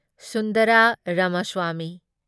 Sundar Ramaswami